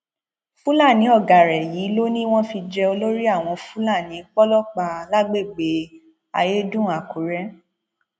fúlàní ọgá rẹ yìí ló ní wọn fi jẹ olórí àwọn fúlàní pọlọpà lágbègbè ayédùn àkùrẹ